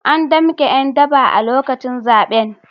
An damke ’yan daba a lokacin zaben.